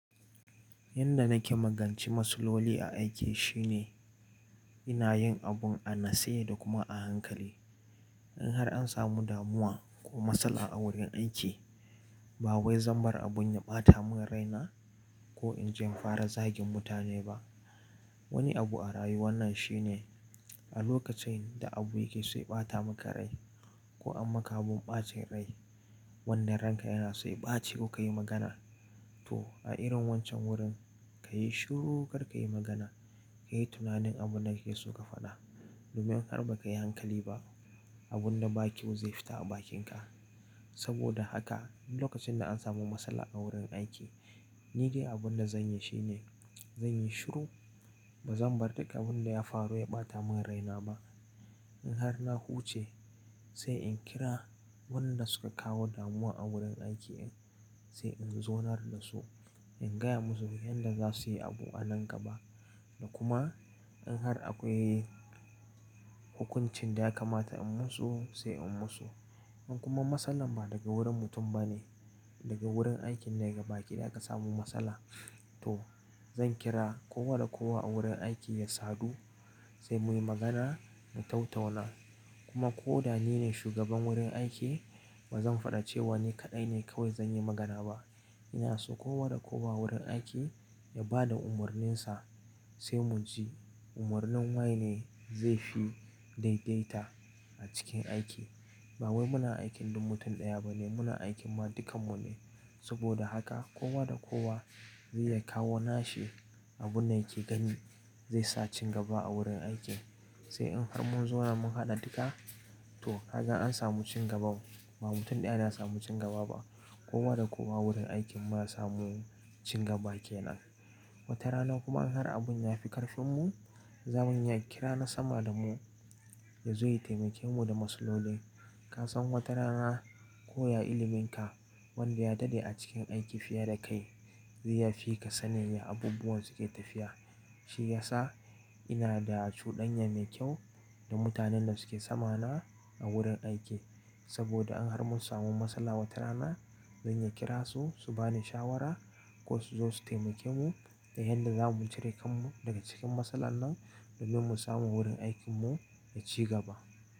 Yanda nake magance matsaloli a aiki shine ina yin abun a natse da kuma a hankali. In har an samu damuwa ko matsala a wurin aiki, ba wai zan bar abun ya ɓata mun raina ko in je in fara zagin mutane ba. Wani abu a rayuwa nan shine a lokacin da abu yake so ɓata maka rai ko an maka abun ɓacin rai, wanda ranka yana so ɓaci kuka yi magana. To a irin wancan wurin, ka yi shiru kar ka yi magana, ka yi tunanin abun da kake so ka faɗa. Domin in har ba ka yi hankali ba, abun da ba kyau zai fita a bakinka. Saboda haka duk lokacin da an samu matsala a wurin aiki, ni dai abun da zanyi shine zan yi shiru. Ba zan bari daga abun da ya faru ya ɓata mun raina ba. In har na huce sai in kira wannan da suka kawo damuwa a wurin aiki ɗin sai in zaunar da su, in gaya musu yanda za su yi abu a nan gaba da kuma in har akwai hukuncin da ya kamata in musu sai in musu. In kuma matsalar ba daga wurin mutum ba ne, daga wurin aikin ne ga baki ɗaya aka samu matsala, to zan kira kowa da kowa a wurin aiki ya sadu sai muyi magana mu tau-tauna. Kuma ko da ni ne shugaban wurin aiki, ba zan faɗi cewa ni kaɗai ne kawai zan yi magana ba. Ina so kowa da kowa wurin aiki ya ba da umarninsa sai mu ji umarnin wane ne zai fi daidaita a cikin aiki. Ba wai muna aikin duk mutum ɗaya ba ne, muna aikin ma dukan mu ne. Saboda haka kowa da kowa zai ya kawo nashi abun da yake gani zai sa ci gaba a wurin aiki. Sai in har mun zauna mun haɗa dika, to haka an samu cin gaba. Ba mutum ɗaya na samu cin gaba ba. Kowa da kowa wurin aikin mu ya samu cin gaba kenan. Wata rana kuma in har abun ya fi ƙarfin mu, zamuyi kira na sama da mu ya zo ya taimake mu da matsalolin. Ka san wata rana ko ya ilimin ka wanda ya daɗe a cikin aiki fiye da kai zai yafi ka sanin yaya abubuwan suke tafiya. Shi ya sa ina da cuɗanyar mai kyau da mutanen da suke sama na a wurin aiki. Saboda in har mun samu matsala wata rana, zan iya kira su su bani shawara ko su zo su taimake mu da yanda za mu cire kan mu daga cikin matsala nan domin mu samu wurin aikin mu ya ci gaba.